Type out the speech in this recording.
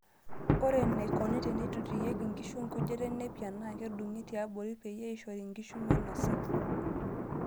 Ore enaikoni teneitotiyieki nkishu enkujita enepia naa kedungi tiabori peyie eishori nkishu meinosaa.